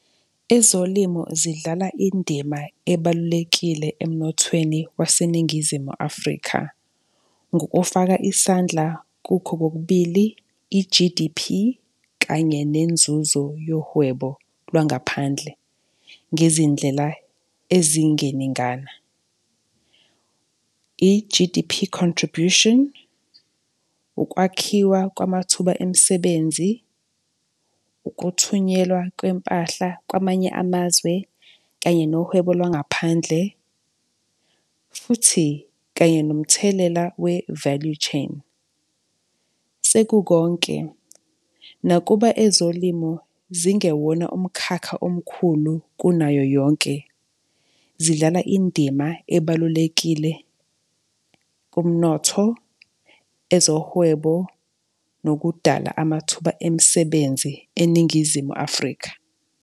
Ezolimo zidlala indima ebalulekile emnothweni waseNingizimu Afrika ngokufaka isandla kukho kokubili, i-G_D_P kanye nenzuzo yohwebo lwangaphandle ngezindlela ezingeningina. I-G_D_P contribution, ukwakhiwa kwamathuba emisebenzi, ukuthunyelwa kwempahla kwamanye amazwe kanye nohwebo lwangaphandle futhi kanye nomthelela we-value chain sekukhonke. Nakuba ezolimo zingelwina umkhakha omkhulu kunayo yonke, zidlala indima ebalulekile kumnotho, ezohwebo nokudala kwamathuba emisebenzi eNingizimu Afrika.